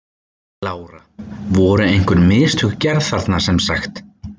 Lára: Voru einhver mistök gerð þarna sem sagt?